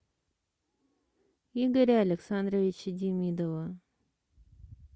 игоря александровича демидова